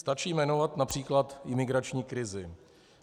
Stačí jmenovat například imigrační krizi.